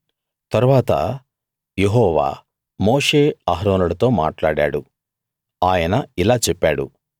తరువాత యెహోవా మోషే అహరోనులతో మాట్లాడాడు ఆయన ఇలా చెప్పాడు